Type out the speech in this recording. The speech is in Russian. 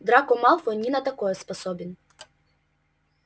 драко малфой ни на такое способен